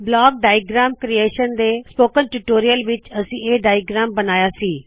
block diagram creation ਦੇ spoken tutorial ਵਿੱਚ ਅਸੀ ਇਹ ਡਾਇਅਗ੍ਰੈਮ ਬਣਾਇਆ ਸੀ